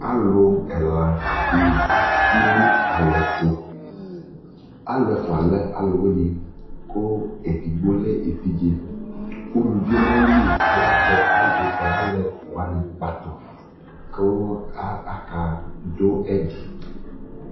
Alʋ ɛla dɩ zati nʋ alɛ tʋ Alʋ ɛfʋa lɛ alʋwɩnɩ kʋ edigbo lɛ evidze Uluvi yɛ nʋ ayili azɛ alʋ alɛ ɛfʋa wanɩ kpatʋ kʋ a akadʋ ɛdɩ